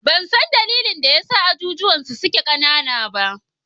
Ban san dalilin da ya sa azuzuwan suke ƙanana ba.